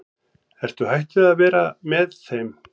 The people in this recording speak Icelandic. Ertu hætt að vera með þeim?